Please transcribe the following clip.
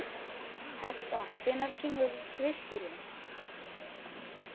Hertha, hvenær kemur tvisturinn?